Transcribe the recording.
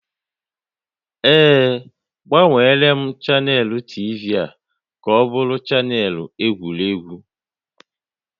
Ee, agbanweela m chanel TV ka ọ bụrụ chanel egwuregwu